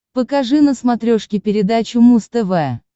покажи на смотрешке передачу муз тв